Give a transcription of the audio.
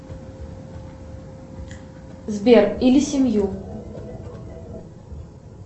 сбер или семью